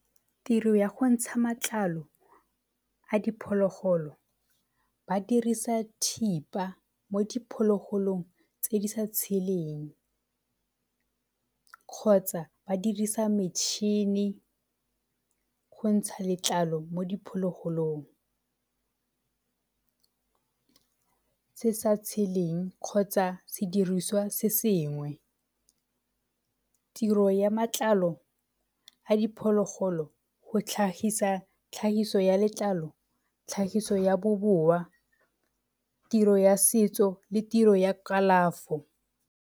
Tiro ya go ntsha matlalo a diphologolo ba dirisa thipa mo diphologolong tse di sa tsheleng kgotsa ba dirisa metšhini go ntsha letlalo mo diphologolong se sa tsheleng kgotsa se diriswa se sengwe. Tiro ya matlalo a diphologolo go tlhagisa tlhagiso ya letlalo, tlhagiso ya boboa, tiro ya setso le tiro ya kalafo.